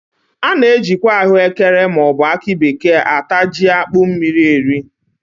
A na- ajikwa ahụ ekere ma ọ bụ akị bekee ata jí akpụ mmiri eri